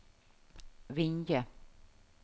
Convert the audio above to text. Vinje